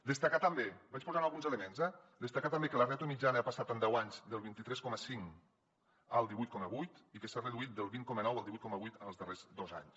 destacar també vaig posant alguns elements eh que la ràtio mitjana ha passat en deu anys del vint tres coma cinc al divuit coma vuit i que s’ha reduït del vint coma nou al divuit coma vuit en els darrers dos anys